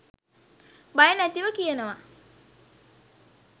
බය නැතිව කියනවා.